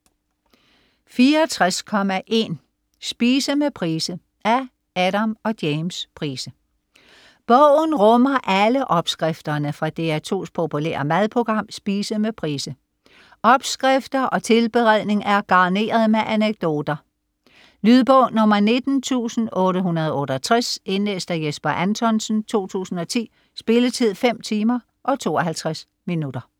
64.1 Spise med Price Af Adam og James Price. Bogen rummer alle opskrifterne fra DR2's populære madprogram "Spise med Price". Opskrifter og tilberedning er garneret med anekdoter. Lydbog 19868 Indlæst af Jesper Anthonsen, 2010. Spilletid: 5 timer, 52 minutter.